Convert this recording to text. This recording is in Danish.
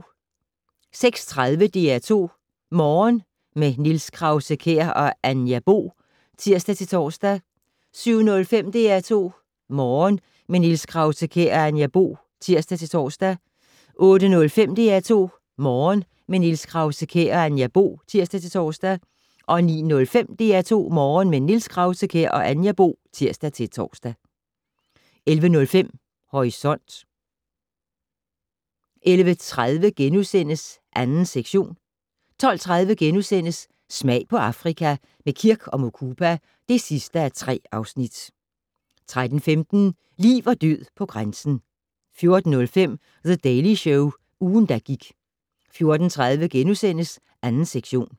06:30: DR2 Morgen - med Niels Krause-Kjær og Anja Bo (tir-tor) 07:05: DR2 Morgen - med Niels Krause-Kjær og Anja Bo (tir-tor) 08:05: DR2 Morgen - med Niels Krause-Kjær og Anja Bo (tir-tor) 09:05: DR2 Morgen - med Niels Krause-Kjær og Anja Bo (tir-tor) 11:05: Horisont 11:30: 2. sektion * 12:30: Smag på Afrika - med Kirk & Mukupa (3:3)* 13:15: Liv og død på grænsen 14:05: The Daily Show - ugen, der gik 14:30: 2. sektion *